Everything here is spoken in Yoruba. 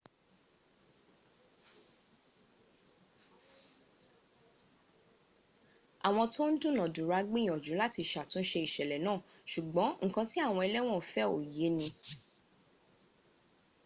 àwọn tó ń dúnàdùra gbìyànjú láti sàtúnse ìṣẹ̀lẹ̀ náà ṣùgbón ǹkan tí àwọn ęlẹ́wọ̀n fẹ́ ò yé ni